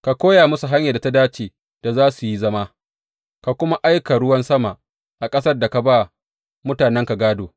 Ka koya musu hanyar da ta dace da za su yi zama, ka kuma aika ruwan sama a ƙasar da ka ba mutanenka gādo.